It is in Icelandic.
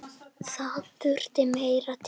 Það þurfti meira til.